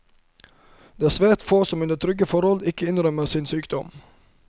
Det er svært få som under trygge forhold ikke innrømmer sin sykdom.